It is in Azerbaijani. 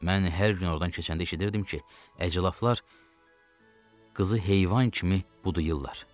Mən hər gün ordan keçəndə eşidirdim ki, əclafalar qızı heyvan kimi budayırlar.